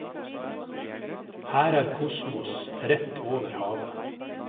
Her er kosmos rett over havet.